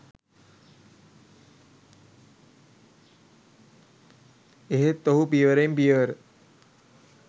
එහෙත් ඔහු පියවරෙන් පියවර